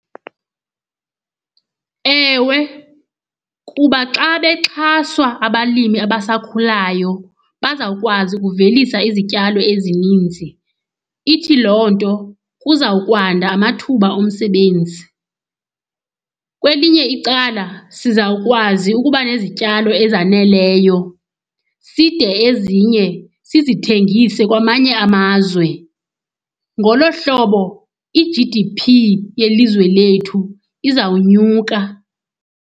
Ewe, kuba xa bexhaswa abalimi abasakhulayo bazawukwazi ukuvelisa izityalo ezininzi. Ithi loo nto kuza kwanda amathuba omsebenzi. Kwelinye icala sizawukwazi ukuba nezityalo ezaneleyo side ezinye sizithengise kwamanye amazwe. Ngolo hlobo i-G_D_P yelizwe lethu izawunyuka.